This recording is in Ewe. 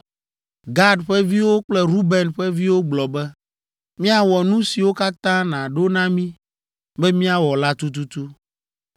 Gad ƒe viwo kple Ruben ƒe viwo gblɔ be, “Míawɔ nu siwo katã nàɖo na mí be míawɔ la tututu.